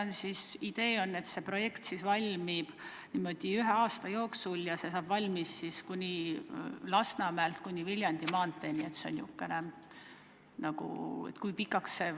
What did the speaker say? Ja kas idee on selline, et projekt valmib ühe aasta jooksul ja ulatub Lasnamäelt kuni Viljandi maanteeni?